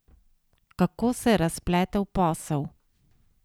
Kako se je razpletel posel?